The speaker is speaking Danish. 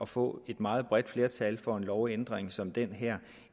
få et meget bredt flertal for en lovændring som den her